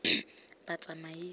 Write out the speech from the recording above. batsamaisi